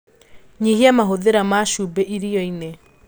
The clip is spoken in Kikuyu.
Nyihia mahũthĩra ma cumbĩ irioini